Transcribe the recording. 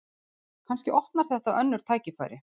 Kannski opnar þetta önnur tækifæri